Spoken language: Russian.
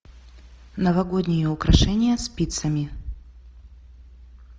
новогодние украшения спицами